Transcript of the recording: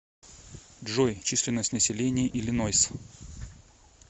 джой численность населения иллинойс